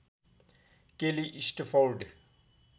केली स्टफोर्ड